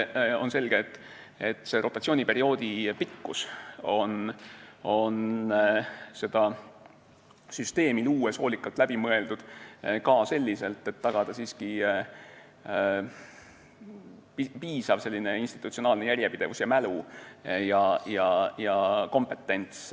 On selge, et rotatsiooniperioodi pikkus on seda süsteemi luues hoolikalt läbi mõeldud ka selliselt, et tagada siiski piisav institutsionaalne järjepidevus, mälu ja kompetentsus.